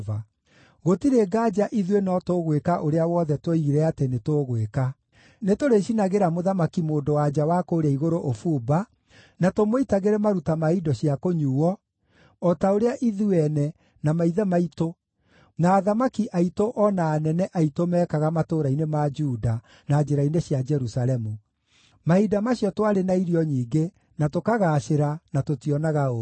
Gũtirĩ nganja ithuĩ no tũgwĩka ũrĩa wothe tuoigire atĩ nĩtũgwĩka: Nĩtũrĩcinagĩra Mũthamaki-Mũndũ-wa-nja wa kũũrĩa Igũrũ ũbumba, na tũmũitagĩre maruta ma indo cia kũnyuuo, o ta ũrĩa ithuĩ ene, na maithe maitũ, na athamaki aitũ o na anene aitũ, meekaga matũũra-inĩ ma Juda na njĩra-inĩ cia Jerusalemu. Mahinda macio twarĩ na irio nyingĩ, na tũkagaacĩra, na tũtioonaga ũũru.